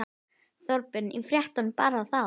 Þorbjörn: Í fréttunum bara þá?